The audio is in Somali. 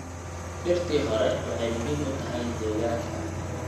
Dhirtii hore waxay muhiim u tahay deegaanka.